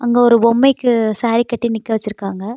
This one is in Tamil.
இங்க ஒரு பொம்மைக்கு சாரி கட்டி நிக்கவச்சுருக்காங்க.